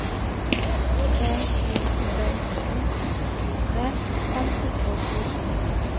tre to tre sju tjuetre fem hundre og tjuesju